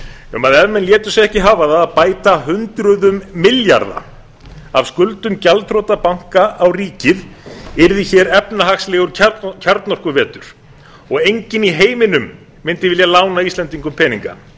um að ef menn létu sig ekki hafa það um að bæta hundruðum milljarða af skuldum gjaldþrota banka á ríkið yrði efnahagslegur kjarnorkuvetur og enginn í heiminum mundi vilja lána íslendingum peninga